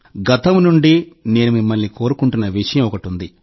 గతం నుండి నేను మిమ్మల్ని కోరుకుంటున్న విషయం ఒకటుంది